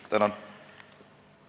Tänan!